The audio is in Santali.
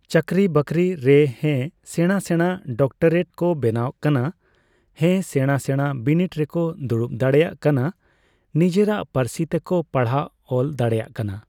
ᱪᱟᱠᱨᱤ ᱵᱟᱠᱨᱤ ᱨᱮ ᱦᱮ ᱥᱮᱸᱲᱟ ᱥᱮᱸᱲᱟ ᱰᱚᱠᱴᱚᱨᱮᱴ ᱠᱚ ᱵᱮᱱᱟᱜ ᱠᱟᱱᱟ᱾ ᱦᱮᱸ ᱥᱮᱸᱲᱟ ᱥᱮᱸᱲᱟ ᱵᱤᱱᱤᱴ ᱨᱮᱠᱚ ᱫᱩᱲᱩᱵ ᱫᱟᱲᱮᱜ ᱠᱟᱱᱟ᱾ ᱱᱤᱡᱮᱨᱟᱜ ᱯᱟᱹᱨᱥᱤ ᱛᱮᱠᱚ ᱯᱟᱲᱦᱟᱣ ᱚᱞ ᱫᱟᱲᱮᱜ ᱠᱟᱱᱟ ᱾